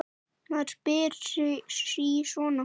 Maður spyr sig sí svona.